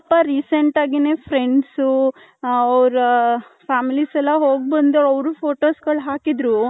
recent ಅಗಿನೆ friends ಊ ಅವರ families ಎಲ್ಲಾ ಹೋಗ್ ಬಂದ್ರು ಅವರು ಫೋಟೋಸ್ ಎಲ್ಲಾ ಹಾಕಿದರು .